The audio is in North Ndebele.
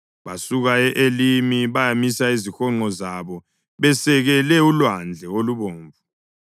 Basuka e-Elimi bayamisa izihonqo zabo besekele uLwandle oluBomvu.